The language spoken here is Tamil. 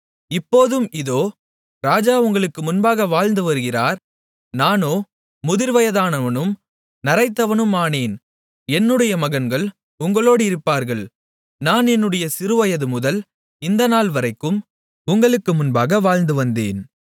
இப்போதும் இதோ ராஜா உங்களுக்கு முன்பாக வாழ்ந்துவருகிறார் நானோ முதிர்வயதானவனும் நரைத்தவனுமானேன் என்னுடைய மகன்கள் உங்களோடிருப்பார்கள் நான் என்னுடைய சிறுவயதுமுதல் இந்த நாள்வரைக்கும் உங்களுக்கு முன்பாக வாழ்ந்துவந்தேன்